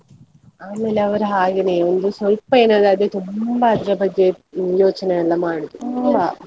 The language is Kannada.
ಆಮೇಲೆ ಅವರು ಹಾಗೇನೆ ಒಂದು ಸ್ವಲ್ಪ ಏನಾದ್ರೂ ಆದ್ರೆ, ತುಂಬಾ ಅದ್ರ ಬಗ್ಗೆ ಯೋಚನೆಯೆಲ್ಲಾ ಮಾಡುದು .